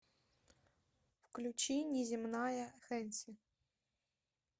включи неземная хэнси